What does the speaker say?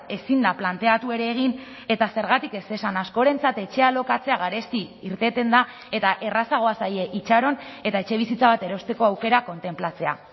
ezin da planteatu ere egin eta zergatik ez esan askorentzat etxea alokatzea garesti irteten da eta errazagoa zaie itxaron eta etxebizitza bat erosteko aukera kontenplatzea